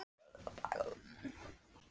Gluggarnir á stofunni snúa út að Lækjargötu.